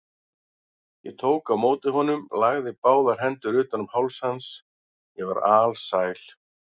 Ég tók á móti honum, lagði báðar hendur utan um háls hans, ég var alsæl.